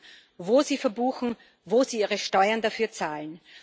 machen, wo sie verbuchen, wo sie ihre Steuern dafür zahlen.